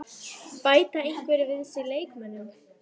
Bæta einhverjir við sig leikmönnum?